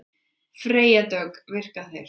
Freyja Dögg: Virka þeir?